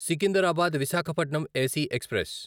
Secunderabad Visakhapatnam AC express